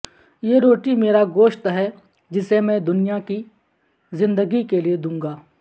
یہ روٹی میرا گوشت ہے جسے میں دنیا کی زندگی کے لئے دونگا